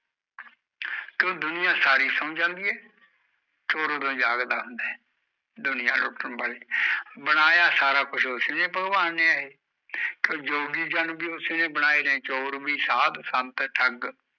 ਦੁਨੀਆਂ ਸਾਰੀ ਸੋ ਜਾਂਦੀ ਆ ਚੋਰ ਓਦੋਂ ਜਾਗਦਾ ਹੁੰਦਾ ਹੈ ਦੁਨੀਆਂ ਲੁੱਟਣ ਵਾਲੇ ਬਨਾਯਾ ਸਾਰਾ ਕੁਝ ਉਸਨੇ ਹੈ ਪਗਬਾਨ ਨੇ ਏ ਜੋਗੀ ਜਨ ਬੀ ਉਸਨੇ ਬਣਾਏ ਆ ਚੋਰ ਬੀ ਸਾਦ ਸੰਤ ਠੱਗ